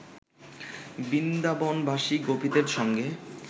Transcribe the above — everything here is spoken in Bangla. বৃন্দাবনবাসী গোপীদের সঙ্গে